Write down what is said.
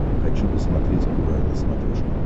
хочу посмотреть курай на смотрешке